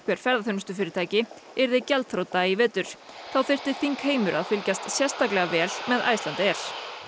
ferðaþjónustufyrirtæki yrðu gjaldþrota í vetur þá þyrfti þingheimur að fylgjast sérstaklega vel með Icelandair